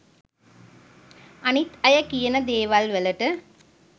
අනිත් අය කියන දේවල් වලට